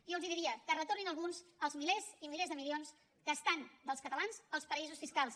i jo els diria que retornin alguns els milers i milers de milions que estan dels catalans als paradisos fiscals